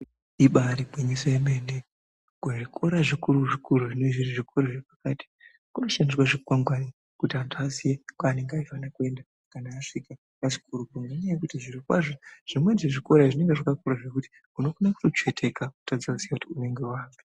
Ibari gwinyiso yemene kuzvikora zvikuru zvikoro zvinenge zviri zvikoro zvepakati kunoshandiswa zvikwangwani kuti antu aziye kwaanenge eifane kuenda kana asvika pachikoropo ngenyaya yekuti zviro kwazvo zvimweni zvezvikora izvi zvinenge zvakakura zvekuti unokone kutotsveteka wotadze kuziya kuti unenge waapi.